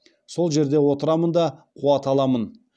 сол жерде отырамын да қуат аламын